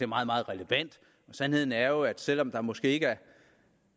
meget meget relevant sandheden er jo at selv om der måske ikke er